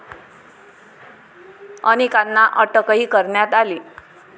अनेकांना अटकही करण्यात आली.